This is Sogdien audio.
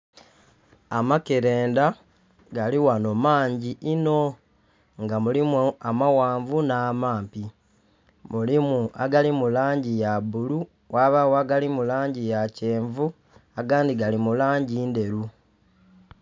Amakelenda gali ghanho mangi inho nga mulimu amaghanvu nh'amampi. Mulimu agali mu langi ya bulu, ghabagho agali mu langi ya kyenvu, agandhi gali mu langi ndheru